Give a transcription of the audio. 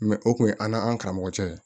Mɛ o kun ye an n'an karamɔgɔkɛ ye